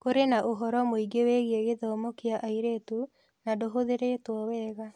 Kũrĩ na ũhoro mũingĩ wĩgiĩ gĩthomo kĩa airĩtu na ndũhũthĩrĩtwo wega.